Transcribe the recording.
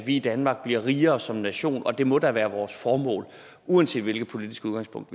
vi i danmark bliver rigere som nation og det må da være vores formål uanset hvilket politisk udgangspunkt